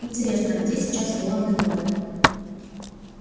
интересно а где сейчас волан-де-морт